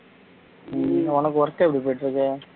உம் உனக்கு work எப்படி போயிட்டுருக்கு